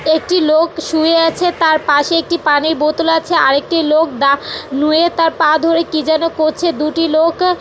একটি লোক শুয়ে আছে। তার পাশে একটি পানির বোতল আছেআরেকটি লোক দা নুয়ে তার পা ধরে কি যেন করছর। দুটি লোক--